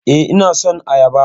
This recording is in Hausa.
Eh, ina son Ayaba